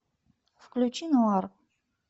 включи нуар